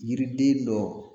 Yiriden dɔ